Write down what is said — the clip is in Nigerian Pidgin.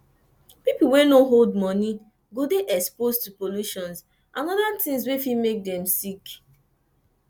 pipo wey no hold money go dey exposed to pollution and oda things wey fit make dem sick